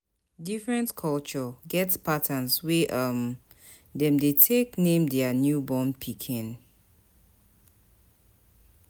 Different cultures get pattern wey um dem de take name dia newborn pikin